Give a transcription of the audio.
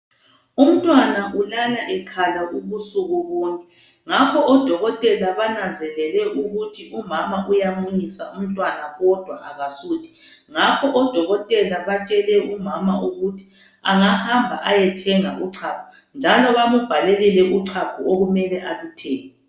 Umntwana ulala ekhala ubusuku bonke. Ngakho odokotela bananzelele ukuthu umama uyamunyisa, umntwana kodwa akasuthi, ngakho odokotela batshele umama ukuthi angahamba ayothenga uchago njalo bambhalele uchago okumele aluthenge